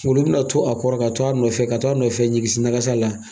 Olu bɛna to a kɔrɔ, ka to a nɔfɛ, ka to a nɔfɛ niigisi nagasa la.